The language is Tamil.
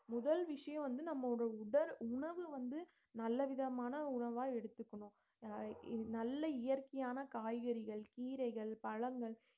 முதல் விஷயம் வந்து நம்மளோட உடல் உணவுல வந்து நல்ல விதமான உணவா எடுத்துக்கணும் அஹ் இது நல்ல இயற்கையான காய்கறிகள் கீரைகள் பழங்கள்